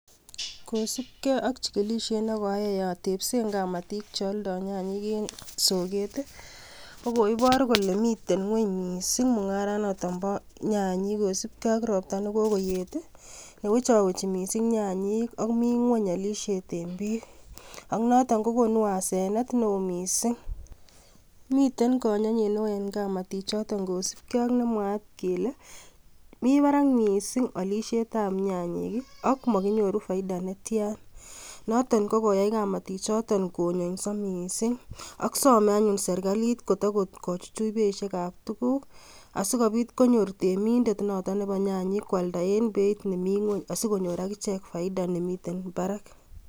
Kosibge ak chigilisiet nekoayai atebseen kamatik cheoldo nyanyik eng soket I,ko koibor kole miten gwony missing mungaranoton boo nyanyik kosiibge ak ropta nekokoyet ak wechowechi nyanyik ak mii mi ngwony olisiet eng biik. Ak noton kokonu asenet neo missing. Miten konyonyet eng kamatik kotienge nemwaat kele mi bar ak beishiek ab nyanyik ak mokinyo ruden paidah netian. Noton ko koyai kamatikchoton konyoiso missing ak some anyun serklit kochuchuch beisiekab tuguuk asikobiit konyor temindet Nebo nyanyik kwalda eng beit nekararan asikonyorunen kelchin nemi barak